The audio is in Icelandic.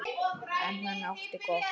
En hann átti gott.